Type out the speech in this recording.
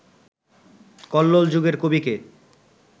কল্লোল যুগের কবি কে